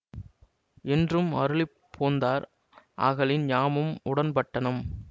என்றும் அருளிப் போந்தார் ஆகலின் யாமும் உடன்பட்டனம்